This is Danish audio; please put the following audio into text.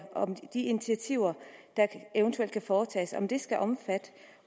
de initiativer der eventuelt kan foretages skal omfatte det